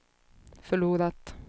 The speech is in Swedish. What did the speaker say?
förlorat